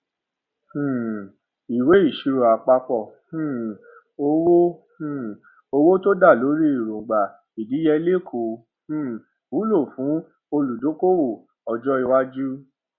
ìwé ìṣirò àpapọ um owó um owó tó dá lórí èróńgbà ìdíyelé kò um wúlò fún olùdókòwò ọjọ iwájú